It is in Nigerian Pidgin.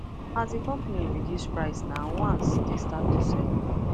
as the the company reduce price nah once they start to sell well